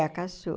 A caçula.